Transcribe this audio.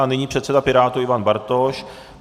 A nyní předseda Pirátů Ivan Bartoš.